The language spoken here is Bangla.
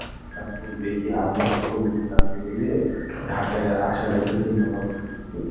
তখন দেখি আমি আর কবিরের নাতি মিলে ঢাকায় আসার একটা চিন্তাভাবনা দিচ্ছি.